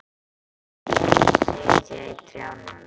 Fuglarnir sitja í trjánum.